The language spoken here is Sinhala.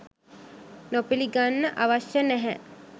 නොපිළිගන්න අවශ්‍ය නැහැ